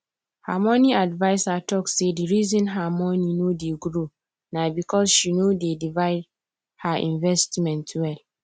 her money adviser talk say the reason her money no dey grow na because she no divide her investment well